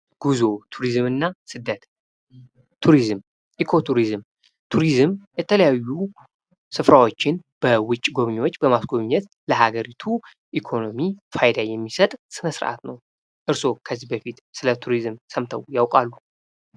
ጉዞ፣ ቱሪዝምና ስደት፦ ቱሪዝም ፦ኢኮ ቱሪዝም፦ ቱሪዝም የተለያዩ ስፍራዎችን በውጭ ጎብኚዎች በማስጎብኘት ለሀገሪቱ ኢኮኖሚ ፋይዳ የሚሰጥ ስነስርዓት ነው። እርስዎ ከዚህ በፊት ስለ ቱሪዝም ሰምተው ያውቃሉ?